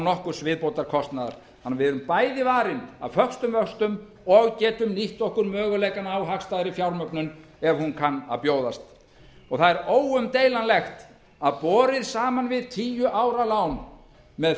nokkurs viðbótarkostnaðar þannig að við erum bæði varin af föstum vöxtum og getum nýtt okkur möguleikana á hagstæðri fjármögnun ef hún kann að að bjóðast það er óumdeilanlegt að borið saman við tíu ára lán með